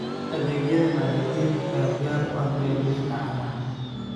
Adeegyada maaliyadeed ayaa diyaar u ah beeralayda caanaha.